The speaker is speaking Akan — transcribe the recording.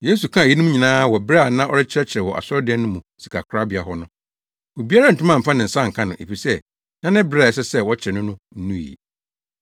Yesu kaa eyinom nyinaa wɔ bere a na ɔrekyerɛkyerɛ wɔ asɔredan no mu sikakorabea hɔ no. Obiara antumi amfa ne nsa anka no, efisɛ na ne bere a ɛsɛ sɛ wɔkyere no no nnu ɛ.